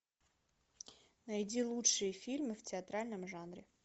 найди лучшие фильмы в театральном жанре